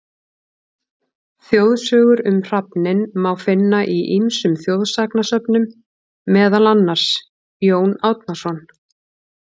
Þjóðsögur um hrafninn má finna í ýmsum þjóðsagnasöfnum, meðal annars: Jón Árnason.